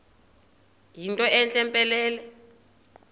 yinto entle mpelele